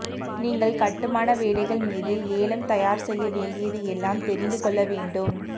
நீங்கள் கட்டுமான வேலைகள் மீது ஏலம் தயார் செய்ய வேண்டியது எல்லாம் தெரிந்து கொள்ள வேண்டும்